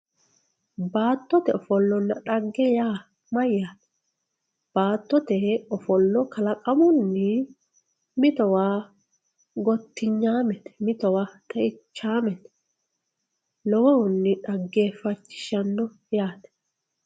baattote ofolonna dhagge ya mayyate baattote ofollo kalaqamunni mitowa gottinyaamete mitowa xeichaamete lowohunni dhageefachishshanno yaate